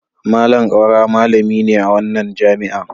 Malam Kaura malami ne a wannan jami'a.